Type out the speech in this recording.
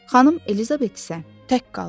Xanım Elizabet isə tək qaldı.